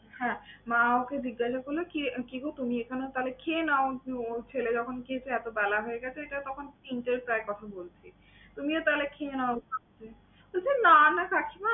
হ্যাঁ মা ওকে জিজ্ঞাসা করলো কি রে কি গো তুমি এখানে? তাহলে খেয়ে নাও যে ওর ছেলে যখন খেতে এতো বেলা হয়ে গেছে তখন তিনটের প্রায় কথা বলছি। তুমিও তাহলে খেয়ে নাও। বলছে না না কাকিমা